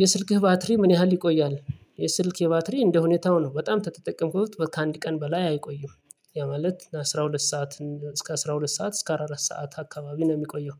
የስልክህ ባትሪ ምን ያህል ይቆያል? የስልኬ ባትሪ እንደሁኔታው ነው በጣም ከተጠቀምኩት ከአንድ ቀን በላይ አይቆይም። ያ ማለት አስራ ሁለት ሰዓት እስከ አስራ ሁለት ሰዓት እስከ አራት ሰዓት አካባቢ ነው የሚቆየው።